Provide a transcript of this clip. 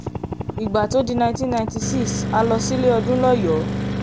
ìgbà tó di 1996 a lọ sílé ọdún lọ́yọ́ọ́